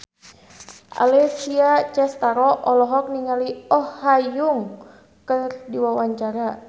Alessia Cestaro olohok ningali Oh Ha Young keur diwawancara